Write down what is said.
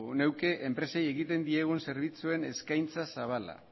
nahi nuke enpresei egiten diegun zerbitzuen eskaintza zabala